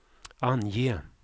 ange